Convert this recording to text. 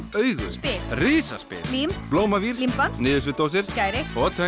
augu spil Risaspil lím Blómavír límband niðursuðudósir skæri og